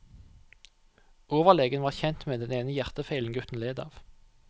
Overlegen var kjent med den ene hjertefeilen gutten led av.